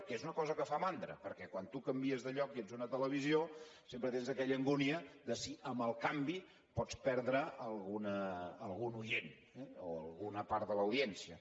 que és una cosa que fa mandra perquè quan tu canvies de lloc i ets una televisió sempre tens aquella angúnia de si amb el canvi pots perdre algun oient o alguna part de l’audiència